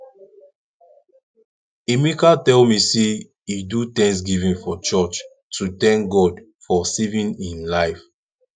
emeka tell me say he do thanksgiving for church to thank god for saving im life